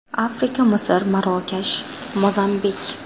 Afrika – Misr, Marokash, Mozambik.